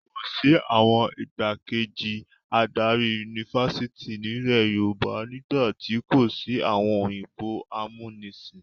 Kò sí àwọn ìgbákejì adarí yunifásitì nílẹ̀ Yorùbá nígbà tí kò sí àwọn òyìnbó amúnisìn.